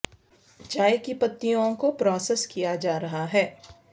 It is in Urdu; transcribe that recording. چائے کی پتیوں کو پراسیس کیا جا رہا ہے